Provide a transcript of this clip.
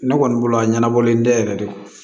Ne kɔni bolo a ɲɛnabɔlen tɛ yɛrɛ de